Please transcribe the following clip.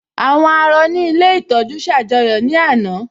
Àwọn àárọ̀ ní ilé ìtọ́jú ṣ'àjọyọ̀ ní àná